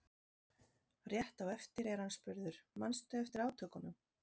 Rétt á eftir er hann spurður: Manstu eftir átökunum?